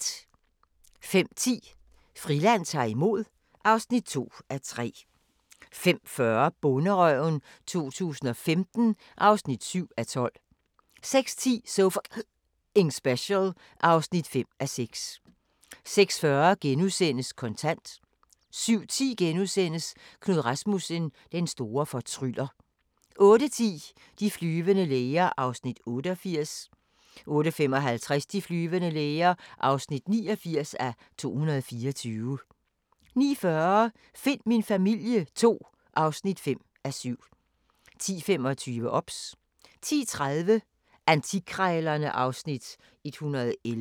05:10: Friland ta'r imod (2:3) 05:40: Bonderøven 2015 (7:12) 06:10: So F***ing Special (5:6) 06:40: Kontant * 07:10: Knud Rasmussen – den store fortryller * 08:10: De flyvende læger (88:224) 08:55: De flyvende læger (89:224) 09:40: Find min familie II (5:7) 10:25: OBS 10:30: Antikkrejlerne (Afs. 111)